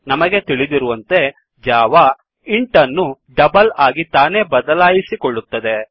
ನಮಗೆ ತಿಳಿದಿರುವಂತೆ Java int ಅನ್ನು ಡಬಲ್ ಆಗಿ ತಾನೇ ಬದಲಾಯಿಸಿಕೊಳ್ಳುತ್ತದೆ